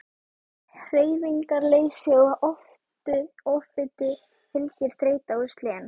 Hreyfingarleysi og offitu fylgir þreyta og slen.